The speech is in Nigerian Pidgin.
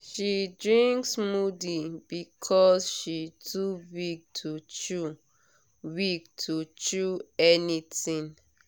she drink smoothie because she too weak to chew weak to chew anything.